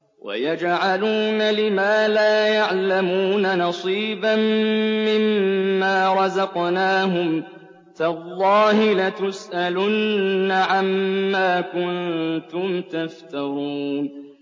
وَيَجْعَلُونَ لِمَا لَا يَعْلَمُونَ نَصِيبًا مِّمَّا رَزَقْنَاهُمْ ۗ تَاللَّهِ لَتُسْأَلُنَّ عَمَّا كُنتُمْ تَفْتَرُونَ